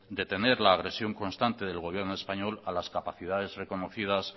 detener la agresión constante del gobierno español a las capacidades reconocidas